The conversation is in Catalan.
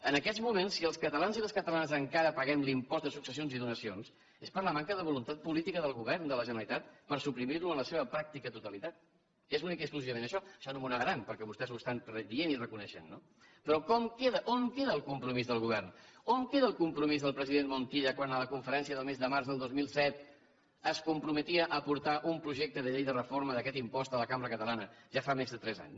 en aquests moments si els catalans i les catalanes encara paguem l’impost de successions i donacions és per la manca de voluntat política del govern de la generalitat per suprimir lo en la seva pràctica totalitat és únicament i exclusivament això això no m’ho negaran perquè vostès ho estan dient i reconeixent no però com queda on queda el compromís del govern on queda el compromís del president montilla quan en la conferència del mes de març del dos mil set es comprometia a portar un projecte de llei de reforma d’aquest impost a la cambra catalana ja fa més de tres anys